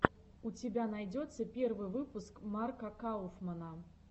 у тебя найдется первый выпуск марка кауфмана